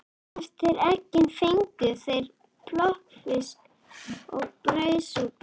Eftir eggin fengu þeir plokkfisk og brauðsúpu.